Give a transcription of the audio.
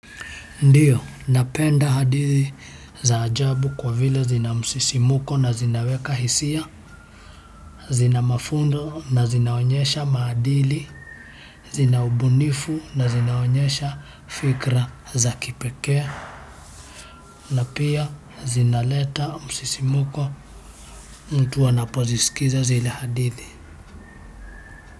Ndiyo, napenda hadithi za ajabu kwa vile zina msisimko na zinaweka hisia, zina mafunzo na zinaonyesha maadili, zina ubunifu na zinaonyesha fikra za kipekee. Na pia zinaleta msisimko mtu anapozisikiza zile hadithi.